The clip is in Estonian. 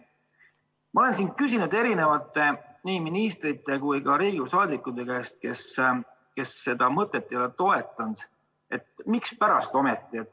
Ma olen küsinud nii ministrite kui ka Riigikogu liikmete käest, kes seda mõtet ei toetanud: mispärast ometi?